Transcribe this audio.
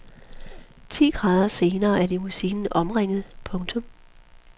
Ti gader senere er limousinen omringet. punktum